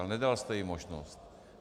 Ale nedal jste jim možnost.